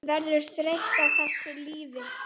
Verður þreytt á þessu lífi.